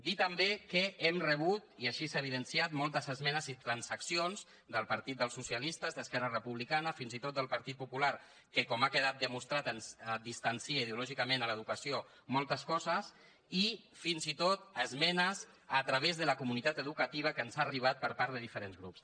dir també que hem rebut i així s’ha evidenciat moltes esmenes i transaccions del partit dels socialistes d’esquerra republicana fins i tot del partit popular que com ha quedat demostrat ens distancia ideològicament en l’educació moltes coses i fins i tot esmenes a través de la comunitat educativa que ens han arribat per part de diferents grups